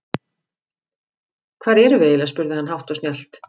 Hvar erum við eiginlega spurði hann hátt og snjallt.